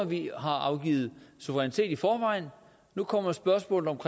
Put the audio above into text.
vi har afgivet suverænitet i forvejen nu kommer spørgsmålet